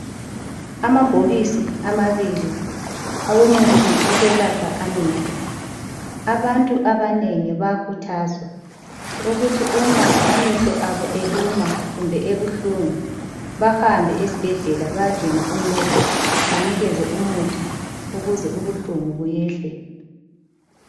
Amabhokisi amabili owomuthi okwelapha amehlo. Abantu abanengi bayakhuthazwa ukuthi uma amehlo abo eluma kumbe ebuhlungu bahambe esibhedlela badinga uncedo banikezwe umuthi ukuze ubuhlungu buyehle.